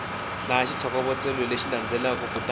hlaya xitlhokovetselo lexi landzelaka kutani